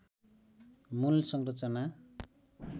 मूल संरचना